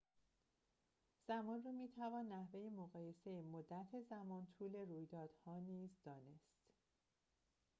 زمان را می‌توان نحوه مقایسه مدت‌زمان طول رویدادها نیز دانست